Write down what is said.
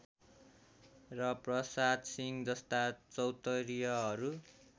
र प्रसादशिंह जस्ता चौतरियहरू